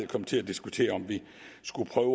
komme til at diskutere om vi skulle prøve